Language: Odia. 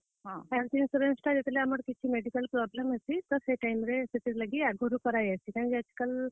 ହଁ, health insurance ଟା ଯେତେବେଲେ ଆମର କିଛି medical problem ହେସି ତ, ସେ time ରେ, ସେଥିର ଲାଗି ଆଘରୁ କରାଯାଏସି। କେଁଯେ କି ଆଏଜ କାଏଲ।